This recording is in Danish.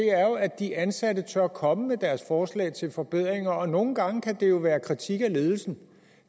er jo at de ansatte tør komme med deres forslag til forbedringer og nogle gange kan det være kritik af ledelsen